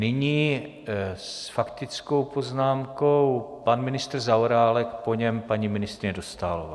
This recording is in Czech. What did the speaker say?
Nyní s faktickou poznámkou pan ministr Zaorálek, po něm paní ministryně Dostálová.